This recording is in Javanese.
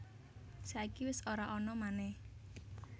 Saiki wis ora ana manèh